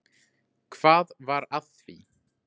Hvað var að því?